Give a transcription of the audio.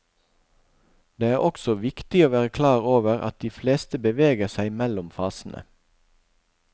Det er også viktig å være klar over at de fleste beveger seg mellom fasene.